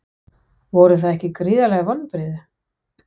Voru það ekki gríðarleg vonbrigði?